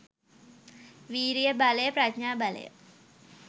විරිය බලය, ප්‍රඥා බලය,